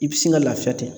I bi sin ka lafiya ten